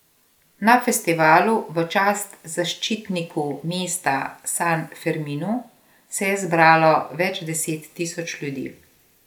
Na festivalu v čast zaščitniku mesta San Ferminu se je zbralo več deset tisoč ljudi.